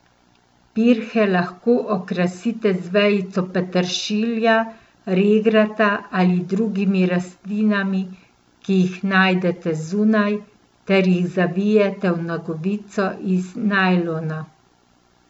Pirhe lahko okrasite z vejico peteršilja, regrata ali drugimi rastlinami, ki jih najdete zunaj, ter jih zavijete v nogavico iz najlona.